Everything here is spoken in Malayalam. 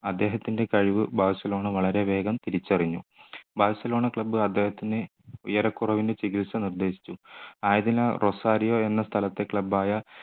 അദ്ദേഹത്തിൻ്റെ കഴിവ് ബാഴ്സലോണ വളരെ വേഗം തിരിച്ചറിഞ്ഞു ബാഴ്സലോണ club അദ്ദേഹത്തിന് ഉയരക്കുറവിന് ചികിത്സ നിർദ്ദേശിച്ചു ആയതിനാൽ റൊസാരിയോ എന്ന സ്ഥലത്തെ club ആയ